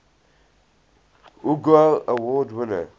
hugo award winner